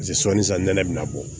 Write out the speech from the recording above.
Paseke sɔli san nɛnɛ bɛ na bɔ